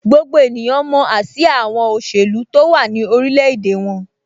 Gbogbo ènìyàn mọ ásíá àwọn òṣèlú tó wà ní orilẹ̀-èdè wọn.